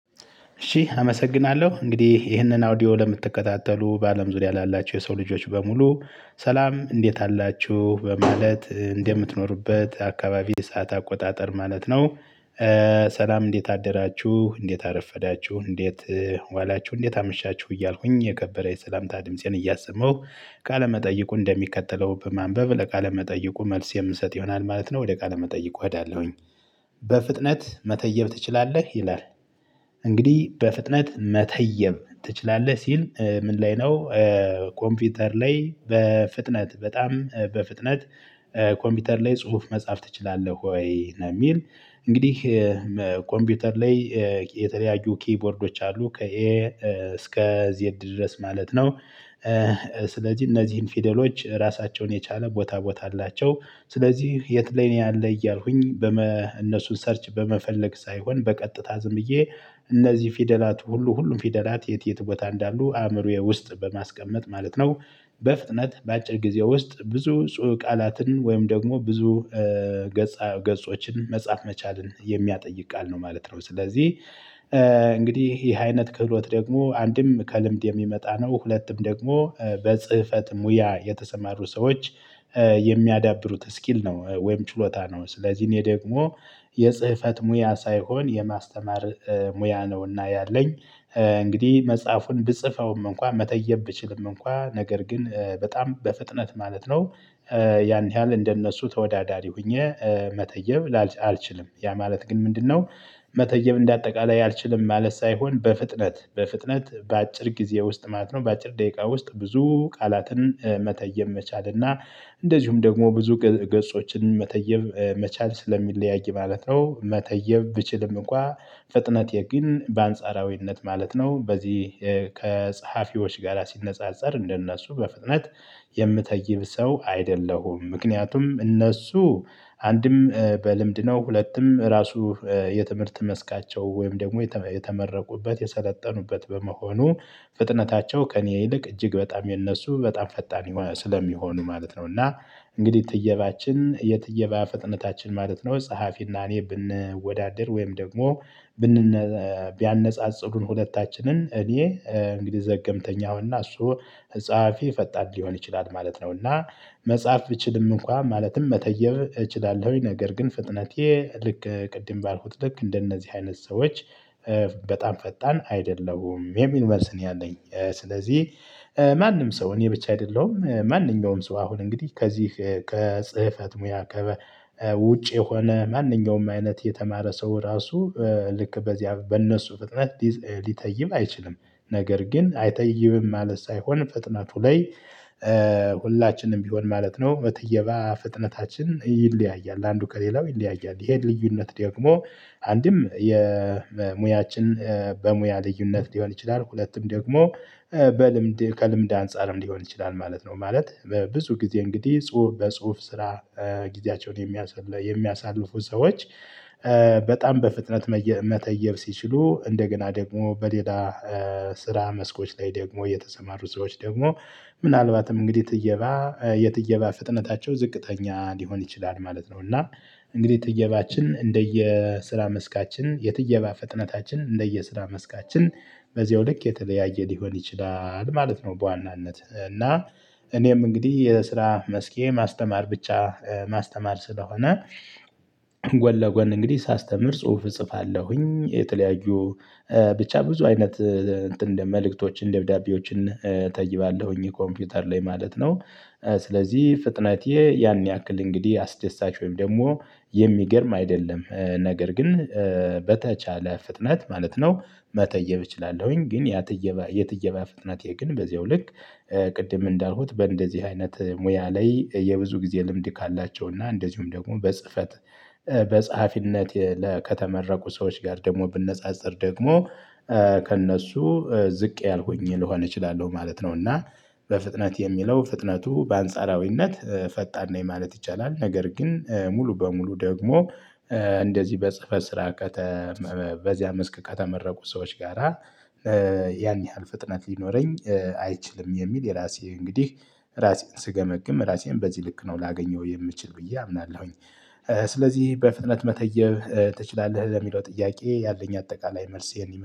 እሺ አመሰግናለሁ እንግዲህ ይህንን አውዲዮ ለምትከታተሉ በአለም ዙሪያ ላላችሁ የሰው ልጆች በሙሉ ሰላም እንዴት አላችሁ በማለት እንደምትኖርበት አካባቢ ሰዓት አቆጣጠር ማለት ነው። ሰላም እንዴት አደራችሁ እንዴት አረፈዳችሁ እንዴት ዋላችሁ እንዴት አምሻችሁ እያልኩኝ የከበረ የሰላምታ ድምፄን እያሰማሁ ቃለመጠይቁ እንደሚከተለው በማንበብ ለቃለመጠይቁ መልስ የምሰጥ ይሆናል ማለት ነው። ወደ ቃል መጠይቁ እሄዳለሁኝ። በፍጥነት መተየብ ትችላለህ ይላል። እንግዲህ በፍጥነት መተየብ ትችላለህ ሲል ምን ላይ ነው? ኮምፒውተር ላይ በፍጥነት በጣም በፍጥነት ኮምፒውተር ላይ ጽሁፍ መጻፍ ትችላለህ ወይ ነው የሚል? እንግዲህ ኮምፒውተር ላይ የተለያዩ ኪቦርዶች አሉ ከኤ እስከ ዜድ ድረስ ማለት ነው። ስለዚህ እነዚህን ፊደሎች ራሳቸውን የቻለ ቦታ ቦታ አላቸው። ስለዚህ የት ላይ ነው ያለ እያልኩኝ በእነሱን ሰርች በመፈለግ ሳይሆን በቀጥታ ዝምዬ እነዚህ ፊደላት ሁሉ ሁሉም ፊደላት የት የት ቦታ እንዳሉ አእምሮዬ ውስጥ በማስቀመጥ ማለት ነው። በፍጥነት በአጭር ጊዜ ውስጥ ብዙ ቃላትን ወይም ደግሞ ብዙ ገጾችን መጻፍ መቻልን የሚያጠይቅ ቃል ነው ማለት ነው። ስለዚህ እንግዲህ ይሄ አይነት ክህሎት ደግሞ አንድም ከልምድ የሚመጣ ነው። ሁለቱም ደግሞ በጽህፈት ሙያ የተሰማሩ ሰዎች የሚያዳብሩት ስኪል ነው። ወይም ጭሎታ ነው ስለዚህ እኔ ደግሞ የጽህፈት ሙያ ሳይሆን የማስተማር ሙያ ነውና ያለኝ። እንግዲህ መጽሐፉን ብጽፈውም እንኳን መተየብ ብችልም እንኳን ነገር ግን በጣም በፍጥነት ማለት ነው። ያን ያህል እንደነሱ ተወዳዳሪ ሆኜ መተየብ አልችልም ያ ማለት ግን ምንድነው? መተየብ እንደ አጠቃላይ አልችልም ማለት ሳይሆን በፍጥነት በፍጥነት በአጭር ጊዜ ውስጥ ማለት ነው። በአጭር ደቂቃ ውስጥ ብዙ ቃላትን መተየብ መቻል እና እንደዚሁም ደግሞ ብዙ ገጾችን መተየብ መቻል ስለሚለያይ ማለት ነው። መተየብ ብችልም እንኳን ፍጥነቴ ግን በአንጻራዊነት ማለት ነው። በዚህ ከጸሐፊዎች ጋር ሲነጻጸር እንደነሱ በፍጥነት የምትተይብ ሰው አይደለሁም። ምክንያቱም እነሱ አንድም በልምድ ነው ሁለቱም ራሱ የትምህርት መስካቸው ወይም ደግሞ የተመረቁበት የሰለጠኑበት በመሆኑ ፍጥነታቸው ከእኔ ይልቅ እጅግ በጣም የነሱ በጣም ፈጣን ስለሚሆኑ ማለት ነው። እና እንግዲህ ትየባችን የትየባ ፍጥነታችን ማለት ነው ጸሐፊና እኔ ብንወዳደር ወይም ደግሞ ቢያነጻጽሩን ሁለታችንን እኔ እንግዲህ ዘገምተኛ እሆንና እሱ ጸሐፊ ፈጣን ሊሆን ይችላል ማለት ነውና። መጽሐፍ ብችልም እንኳን ማለትም መተየብ እችላለሁኝ ነገር ግን ፍጥነቴ ልክ ቅድም ባልኩት ልክ እንደነዚህ አይነት ሰዎች በጣም ፈጣን አይደለሁም የሚል መልስ እኔ አለኝ። ስለዚህ ማንም ሰው እኔ ብቻ አይደለሁም ማንኛውም ሰው አሁን እንግዲህ ከዚህ ከጽህፈት ሙያ ውጭ የሆነ ማንኛውም አይነት የተማረ ሰው ራሱ ልክ በዚያ በእነሱ ፍጥነት ሊተይብ አይችልም። ነገር ግን አይተይብም ማለት ሳይሆን ፍጥነቱ ላይ ሁላችንም ቢሆን ማለት ነው በትየባ ፍጥነታችን ይለያያል። አንዱ ከሌላው ይለያያል ይሄን ልዩነት ደግሞ አንድም የሙያችን በሙያ ልዩነት ሊሆን ይችላል። ሁለቱም ደግሞ በልምድ ከልምድ አንፃርም ሊሆን ይችላል ማለት ነው። ማለት በብዙ ጊዜ እንግዲህ ጽሁፍ በጽሁፍ ስራ ጊዜያቸውን የሚያሳልፉ ሰዎች። በጣም በፍጥነት መተየብ ሲችሉ እንደገና ደግሞ በሌላ ስራ መስኮች ላይ ደግሞ የተሰማሩ ሰዎች ደግሞ ምናልባትም እንግዲህ ትየባ የትየባ ፍጥነታቸው ዝቅተኛ ሊሆን ይችላል ማለት ነው። እና እንግዲህ ትየባችን እንደየ ስራ መስካችን የትየባ ፍጥነታችን እንደየስራ መስካችን በዚያው ልክ የተለያየ ሊሆን ይችላል ማለት ነው። በዋናነት እና እኔም እንግዲህ የስራ መስኬ ማስተማር ብቻ ማስተማር ስለሆነ ጎን ለጎን እንግዲህ ሳስተምር ጽሁፍ እጽፋለሁኝ። የተለያዩ ብቻ ብዙ አይነት እንትን መልእክቶችን ደብዳቤዎችን እጠይባለሁኝ ኮምፒውተር ላይ ማለት ነው። ስለዚህ ፍጥነቴ ያን ያክል እንግዲህ አስደሳች ወይም ደግሞ የሚገርም አይደለም ነገር ግን በተቻለ ፍጥነት ማለት ነው መተየብ እችላለሁኝ ግን ያት የትየባ ፍጥነቴ ግን በዚያው ልክ። ቅድም እንዳልኩት በእንደዚህ አይነት ሙያ ላይ የብዙ ጊዜ ልምድ ካላቸው እና እንደዚሁም ደግሞ በጽህፈት በጸሐፊነት ከተመረቁ ሰዎች ጋር ደግሞ ብነጻጸር ደግሞ ከእነሱ ዝቅ ያልኩኝ ልሆን እችላለሁ ማለት ነው። እና በፍጥነት የሚለው ፍጥነቱ በአንጻራዊነት ፈጣን ነኝ ማለት ይቻላል። ነገር ግን ሙሉ በሙሉ ደግሞ እንደዚህ በጽፈ ስራ በዚያ መስክ ከተመረቁ ሰዎች ጋራ ያን ያህል ፍጥነት ሊኖረኝ አይችልም። የሚል የራሴ እንግዲህ ራሴን ስገመግም ራሴን በዚህ ልክ ነው ላገኘው የምችል ብዬ አምናለሁኝ። ስለዚህ በፍጥነት መተየብ ትችላለህ ለሚለው ጥያቄ ያለኝ አጠቃላይ መልስ